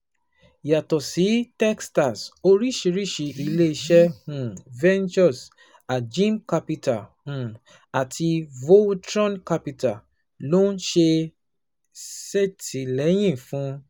Yàtọ̀ sí Techstars, oríṣiríṣi ilé iṣẹ́ um Ventures, Ajim Capital, um àti Voltron Capital ló ń ṣètìlẹ́yìn fún